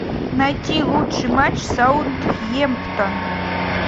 найти лучший матч саутгемптон